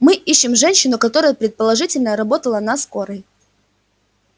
мы ищем женщину которая предположительно работала на скорой